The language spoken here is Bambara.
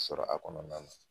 sɔrɔ a kɔnɔna la.